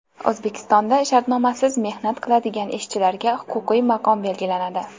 O‘zbekistonda shartnomasiz mehnat qiladigan ishchilarga huquqiy maqom belgilanadi.